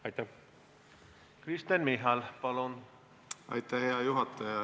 Aitäh, hea juhataja!